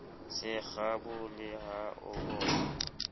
se kgabole ha a boya